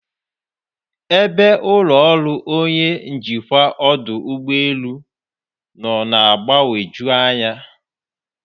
Ebe ụlọ ọrụ onye njikwa ọdụ ụgbọ elu nọ na-agbagwoju anya.